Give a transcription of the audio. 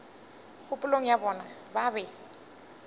kgopolong ya bona ba be